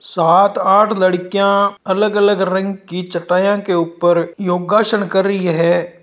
सात आठ लड़कियां अलग-अलग रंग की चटाइयों के ऊपर योगा सण कर रही हैं।